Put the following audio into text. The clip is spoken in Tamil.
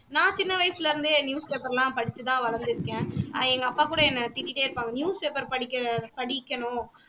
நான் சின்ன வயசுல இருந்தே newspaper லா படிச்சுதா வளந்துருக்கேன் ஆஹ் எங்க அப்பா கூட என்ன திட்டிட்டே இருப்பாங்க newspaper படிக்கிற படிக்கணும்